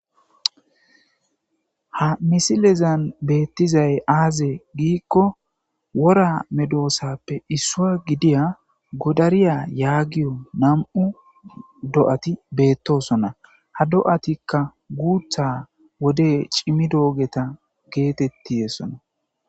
ha misilezan beettizay aaze giikko wora medoosappe issua gidiya godariya yaagiyo nam'u do'ati beettosona ha do'atikka guutha wode cimi doogeta geetettiyesona.